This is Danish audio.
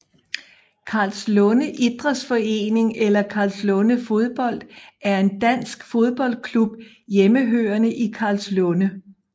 Karlslunde Idrætsforening eller Karlslunde Fodbold er en dansk fodboldklub hjemmehørende i Karlslunde